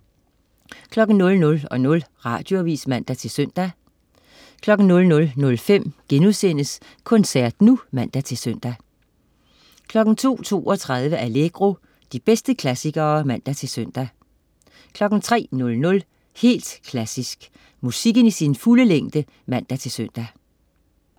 00.00 Radioavis (man-søn) 00.05 Koncert nu* (man-søn) 02.32 Allegro. De bedste klassikere (man-søn) 03.00 Helt Klassisk. Musikken i sin fulde længde (man-søn)